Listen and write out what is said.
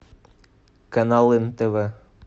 канал нтв